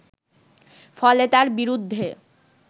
ফলে তার বিরুদ্ধে